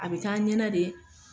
A bɛ k'a ɲɛnɛ de